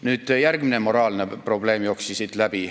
Nüüd, veel üks moraalne probleem jooksis siit läbi.